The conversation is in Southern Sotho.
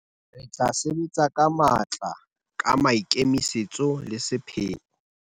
Re tla sebetsa ka matla, ka maikemisetso le sepheo.